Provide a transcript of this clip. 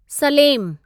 Salem